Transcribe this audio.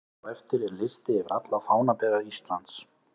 Hér á eftir er listi yfir alla fánabera Íslands: